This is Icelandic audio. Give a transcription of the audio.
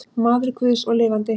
Maður guðs og lifandi.